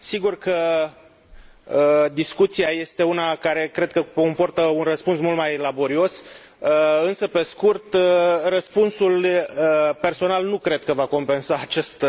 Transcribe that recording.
Sigur că discuția este una care cred că comportă un răspuns mult mai laborios, însă pe scurt, răspunsul personal nu cred că va compensa acest